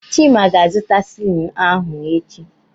Chima ga-azụta silini ahụ echi.